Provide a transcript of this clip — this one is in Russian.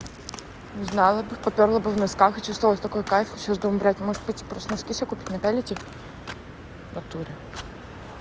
не знала бы попёрла бы в носках и чувствовалось такой кайф сейчас думаю блядь может быть пойти просто носки себе купить напялить их в натуре